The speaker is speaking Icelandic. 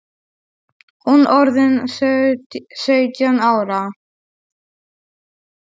Hún orðin sautján ára.